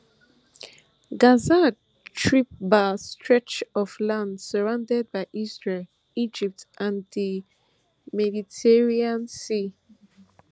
surrounded by Egypt, Israel sea